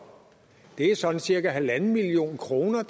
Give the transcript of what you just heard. det er sådan cirka en en halv million kroner